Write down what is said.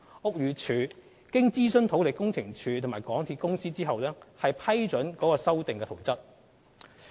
屋宇署經諮詢土力工程處及港鐵公司後批准該修訂圖則。